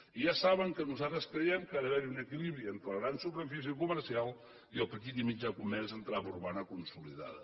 i ja saben que nosaltres creiem que ha d’haver hi un equilibri entre la gran superfície comercial i el petit i mitjà comerç en trama urbana consolidada